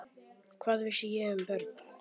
Hvað vissi ég um börn?